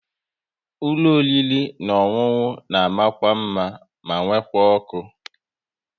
Ụlọ oriri na ọṅụṅụ na mma mma ma nwekwa ọkụ